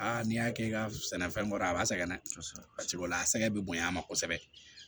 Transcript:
n'i y'a kɛ i ka sɛnɛfɛn kɔrɔ a b'a sɛgɛn dɛ paseke o la a sɛgɛn be bonyan a ma kosɛbɛ